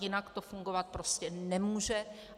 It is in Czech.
Jinak to fungovat prostě nemůže.